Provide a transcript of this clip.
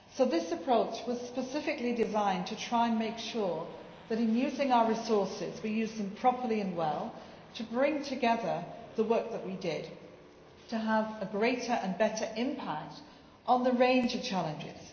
So this approach was specifically designed to try to make sure that, in using our resources, we used them properly and well to bring together the work that we did, and to have a greater and better impact on the range of challenges.